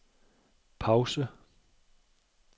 pause